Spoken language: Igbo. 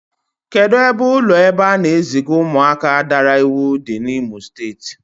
Kedụ ebe ụlọ ebe a na-eziga ụmụaka daara iwu dị n'Imo Steeti?